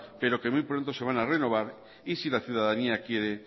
pero que muy pronto se van a renovar y si la ciudadanía quiere